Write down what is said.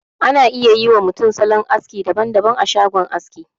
Ana iya yi wa mutum salon aski daban daban a shagon aski.